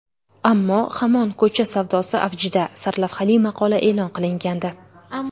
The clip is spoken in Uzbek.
Ammo hamon ko‘cha savdosi avjida” sarlavhali maqola e’lon qilingandi .